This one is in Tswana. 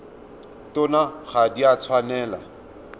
tsona ga di a tshwanela